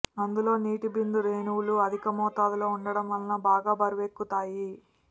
అందులో నీటి బిందు రేణువులు అధిక మోతాదులో ఉండటం వల్ల బాగా బరువెక్కుతాయి